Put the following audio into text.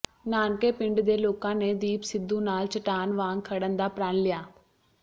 ਨਾਨਕੇ ਪਿੰਡ ਦੇ ਲੋਕਾਂ ਨੇ ਦੀਪ ਸਿੱਧੂ ਨਾਲ ਚਟਾਨ ਵਾਂਗ ਖੜ੍ਹਣ ਦਾ ਪ੍ਰਣ ਲਿਆ